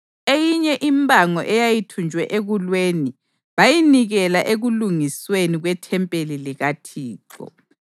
Eyinye impango eyayithunjwe ekulweni bayinikela ekulungisweni kwethempeli likaThixo.